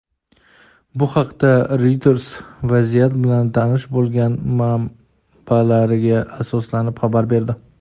Bu haqda "Reuters" vaziyat bilan tanish bo‘lgan manbalariga asoslanib xabar berdi.